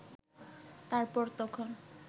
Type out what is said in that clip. তারপর তখন